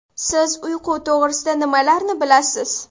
Siz uyqu to‘g‘risida nimalarni bilasiz?